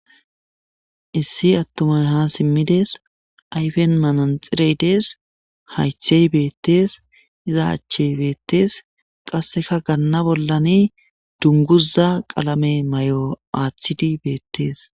Issi atumay ha simmides ayfen manaxirey dees hayththey beettees iza achchey beettees qasse ha ganna bollani dunguza qalame mayo aathidi beettees.